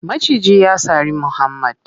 Maciji ya sari muhammad.